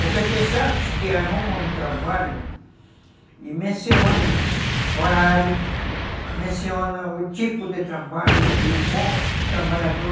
Porque tem certos que arrumam um trabalho e mencionam horário, mencionam o tipo de trabalho e o bom trabalhador.